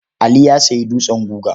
Ali ya sayi dutsen guga.